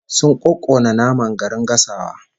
Sun kokkona nama garin gasawa